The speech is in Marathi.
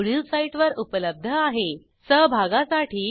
ह्या ट्युटोरियलचे भाषांतर मनाली रानडे यांनी केले असून मी आपला निरोप घेते160